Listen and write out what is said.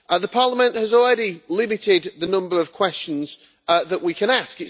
Parliament has already limited the number of questions that we can ask.